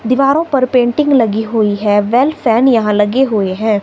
दिवारों पर पेंटिंग लगी हुई है वेल फैन यहां लगे हुए हैं।